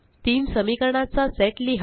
तीन समीकरणाचा सेट लिहा